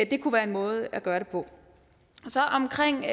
det kunne være en måde at gøre det på omkring